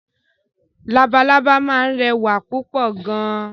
Lalalábá máa ń rẹwà púpọ̀ gan.